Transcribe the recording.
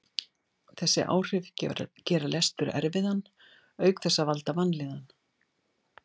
Þessi áhrif gera lestur erfiðan auk þess að valda vanlíðan.